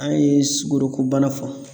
An ye sukoroku bana fɔ